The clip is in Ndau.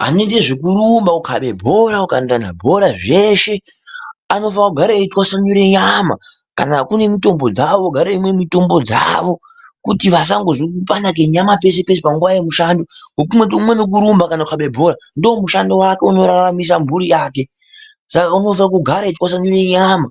Vanoite zvekurumba, kukabe bhora, kukandirane bhora zveshe, anofane kugara etwasanure nyama kana kune mitombo dzawo, ogare eimwe mitomb dzawo, kuti vasandozwe kupanda kwenyama peshe peshe panguwa yemushando, umweni urikurumba kana kukabe bhora ndomushando wake unorrarmise mhuri yake saka unokwanise kugara etwasanudze nyama